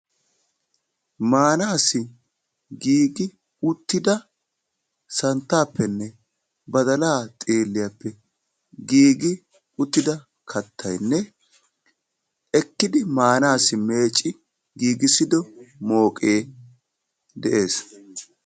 maanaassi giigi uttida santaapenne badalaa xiiliyappe giigi uttida kattaynne ekkidi manaassi meecci giigissido mooqqee de'ees.